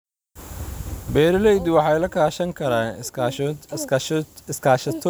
Beeraleydu waxay la kaashan karaan iskaashatooyinka si ay u soo jiitaan suuqyada.